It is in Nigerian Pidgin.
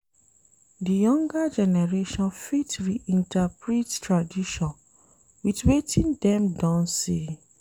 Di younger generation fit reinterprete tradition with wetin dem don see